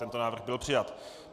Tento návrh byl přijat.